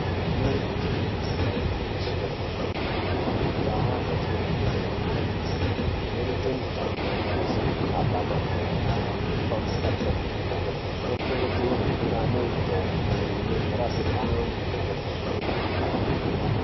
Rinenge jee damba igwinyiso remene, kundau dzatinobveyo antu anoite mitambo yakaita sekukaba mabhora, kutomhuka -tomhuka. Anokurudzirwe ngaane mitombo inzorape amwe kana asvodogoka.